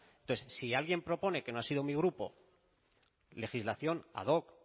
entonces si alguien propone que no ha sido mi grupo legislación ad hoc